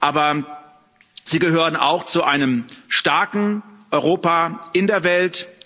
Aber sie gehören auch zu einem starken Europa in der Welt.